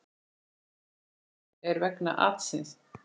Mikið ónæði er vegna atsins.